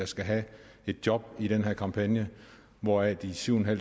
skal have et job i den her kampagne hvoraf de syv